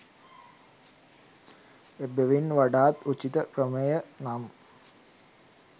එබැවින් වඩාත් උචිත ක්‍රමය නම්